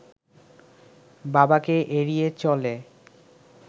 বাবাকে এড়িয়ে চলে